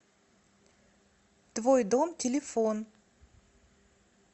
твой дом телефон